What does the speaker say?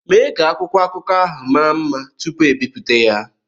Mee ka akwụkwọ akụkọ ahụ maa mma tupu ebibuta ya!